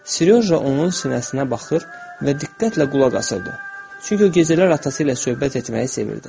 Seryoja onun sinəsinə baxır və diqqətlə qulaq asırdı, çünki o gecələr atası ilə söhbət etməyi sevirdi.